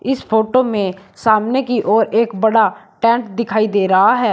इस फोटो में सामने की ओर एक बड़ा टैंक दिखाई दे रहा है।